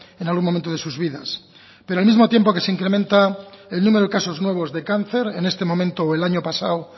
en algún momento de sus vidas pero al mismo tiempo que se incrementa el número de casos nuevos de cáncer en este momento o el año pasado